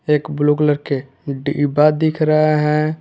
एक blue colour के डिब्बा दिख रहा है।